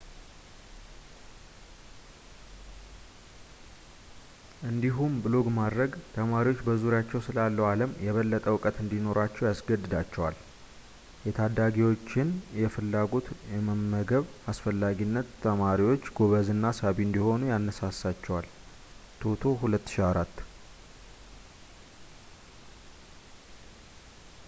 እንዲሁም ብሎግ ማድረግ ተማሪዎች በዙሪያቸው ስላለው ዓለም የበለጠ እውቀት እንዲኖራቸው ያስገድዳቸዋል።” የታዳሚዎችን ፍላጎት የመመገብ አስፈላጊነት ተማሪዎች ጎበዝ እና ሳቢ እንዲሆኑ ያነሳሳቸዋል toto 2004